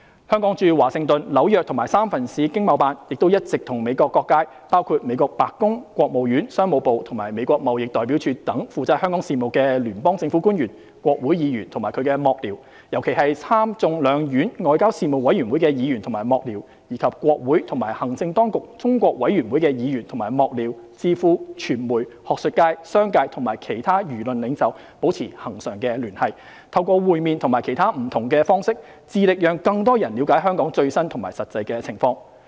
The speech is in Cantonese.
香港駐華盛頓、紐約及三藩市經貿辦，亦一直與美國各界，包括美國白宮、國務院、商務部及美國貿易代表處等負責香港事務的聯邦政府官員、國會議員及其幕僚，尤其是參眾兩院外交事務委員會的議員及幕僚，以及國會及行政當局中國委員會的議員及幕僚、智庫、傳媒、學術界、商界和其他輿論領袖保持恆常聯繫，透過會面及其他不同方式，致力讓更多人了解香港最新和實際情況。